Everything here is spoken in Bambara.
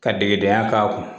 Ka degedenya k'a kun